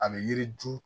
A bɛ yiri dun